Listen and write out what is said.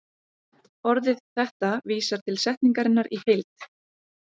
Orðið þetta vísar til setningarinnar í heild.